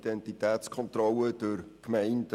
Identitätskontrolle durch Gemeinden: